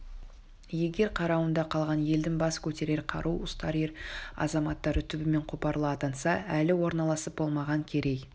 егер қарауында қалған елдің бас көтерер қару ұстар ер-азаматтары түбімен қопарыла аттанса әлі орналасып болмаған керей